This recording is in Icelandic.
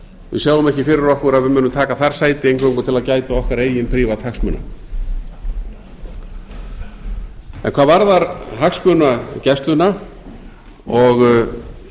við sjáum ekki fyrir okkur að við munum taka þar sæti eingöngu til að gæta okkar eigin prívat hagsmuna hvað varðar hagsmunagæsluna og